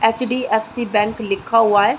HDFC. Bank लिखा हुआ है।